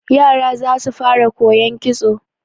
Yara za su fara koyon kitso.